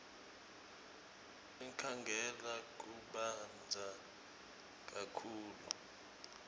enkhangala kubandza kakhulu